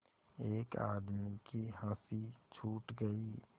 एक आदमी की हँसी छूट गई